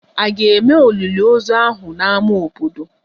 A ga-eme olili ozu ahụ n'ámá obodo?